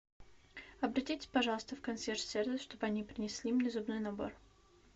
обратитесь пожалуйста в консьерж сервис чтобы они принесли мне зубной набор